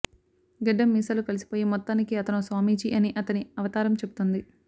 గడ్డం మీసాలు కలిసిపోయి మొత్తానికి అతనో స్వామీజీ అని అతని అవతారం చెబుతోంది